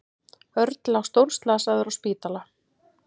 Örn lá stórslasaður á spítala.